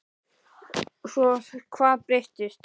Svo hvað breyttist?